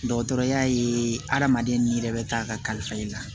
Dɔgɔtɔrɔya ye adamaden ni yɛrɛ bɛ taa kalifa i la